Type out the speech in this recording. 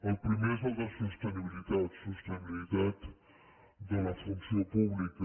el primer és el de sostenibilitat sostenibilitat de la funció pública